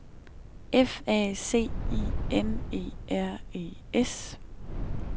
F A C I N E R E S